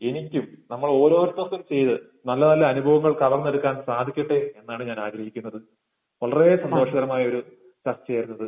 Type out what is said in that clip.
എനിക്കും നമ്മൾ ഓരോരുത്തർക്കും ചെയ്ത് നല്ല നല്ല അനുഭവങ്ങൾ കവർന്നെടുക്കാൻ സാധിക്കട്ടെ എന്നാണ് ഞാൻ ആഗ്രഹിക്കുന്നത്. വളരേ സന്തോഷകരമായൊരു സത്യമാണിത്.